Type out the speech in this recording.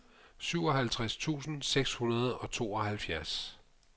syvoghalvtreds tusind seks hundrede og tooghalvfjerds